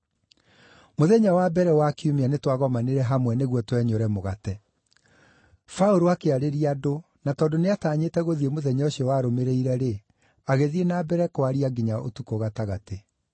Mũthenya wa mbere wa kiumia nĩtwagomanire hamwe nĩguo twenyũre mũgate. Paũlũ akĩarĩria andũ, na tondũ nĩatanyĩte gũthiĩ mũthenya ũcio warũmĩrĩire-rĩ, agĩthiĩ na mbere kwaria nginya ũtukũ gatagatĩ.